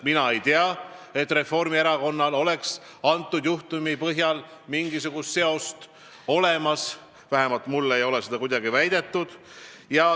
Mina ei tea, et Reformierakonnal oleks antud juhtumiga mingisugust seost, vähemalt ei ole mulle seda väidetud.